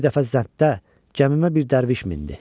Bir dəfə zəngdə gəmimə bir dərviş mindi.